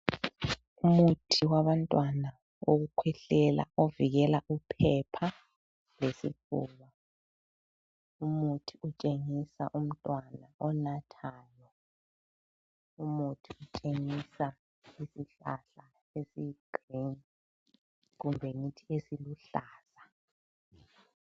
Umuthi wabantwana owokukhwehlela ovikela uphepha lesifuba. Umuthi utshengisa umntwana onathayo. Umuthi utshengisa isihlahla esiyi green kumbe ngithi esiluhlaza.